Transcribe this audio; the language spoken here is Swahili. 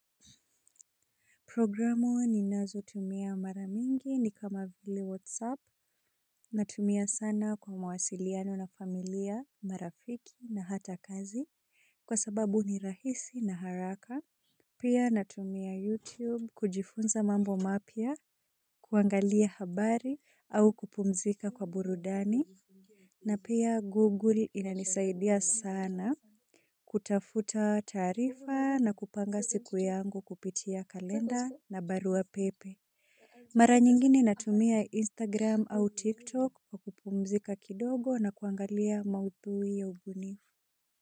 Programu ninazotumia mara mingi ni kama vile whatsapp natumia sana kwa mawasiliano na familia marafiki na hata kazi kwa sababu ni rahisi na haraka. Pia natumia youtube kujifunza mambo mapya. Kuangalia habari au kupumzika kwa burudani. Na pia google inanisaidia sana kutafuta taarifa na kupanga siku yangu kupitia kalenda na barua pepe. Mara nyingine natumia Instagram au TikTok kwa kupumzika kidogo na kuangalia maudhui ya ubunifu.